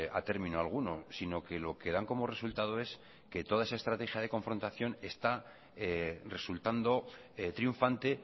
a término alguno sino que lo que dan como resultado es que toda esa estrategia de confrontación está resultando triunfante